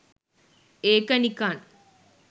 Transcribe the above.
ඒක නිකන්